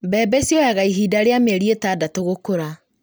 Mbembe cioyaga ihinda rĩa mĩeri ĩtandatũ gũkũra